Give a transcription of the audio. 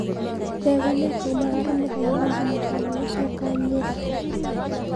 Ndegwa nĩakaumagara mũthenya wa njumatano gũcoka Nyeri